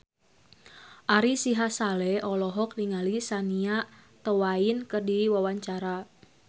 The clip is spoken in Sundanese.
Ari Sihasale olohok ningali Shania Twain keur diwawancara